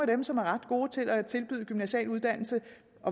dem som er ret gode til at tilbyde gymnasiale uddannelser